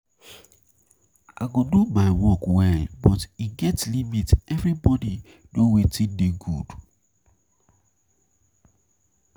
I go do my work well but e get limit. Everybody no wetin dey good.